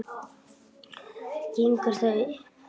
Gengur það upp?